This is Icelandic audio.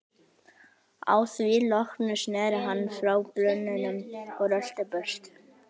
Að því loknu sneri hann frá brunninum og rölti burt.